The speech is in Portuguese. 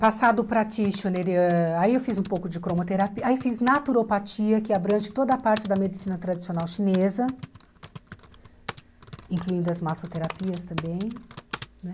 Passado o practitioner, ãh aí eu fiz um pouco de cromoterapia, aí fiz naturopatia, que abrange toda a parte da medicina tradicional chinesa, incluindo as massoterapias também né.